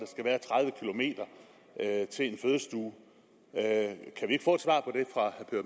at km til en fødestue kan